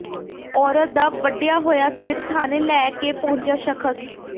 ਔਰਤ ਦਾ ਵੱਢਿਆ ਹੋਇਆ ਸਿਰ ਥਾਣੇ ਲੈ ਕੇ ਪਹੁੰਚਿਆ ਸ਼ਖ਼ਸ